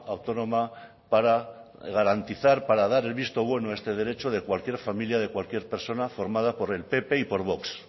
autónoma para garantizar para dar el visto bueno a este derecho de cualquier familia de cualquier persona formada por el pp y por vox